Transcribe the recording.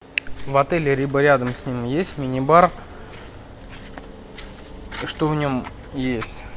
в отеле либо рядом с ним есть мини бар что в нем есть